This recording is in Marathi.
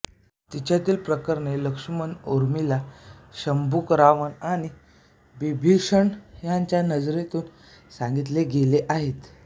तिच्यातली प्रकरणे लक्ष्मण ऊर्मिला शंबुक रावण आणि बिभीषण यांच्या नजरेतून सांगितली गेली आहेत